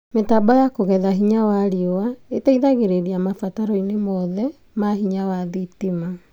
Mĩtambo ya kũgetha hinya wa riũa ĩteithagĩrĩria mabataro-inĩ mothe ma hinya wa thitima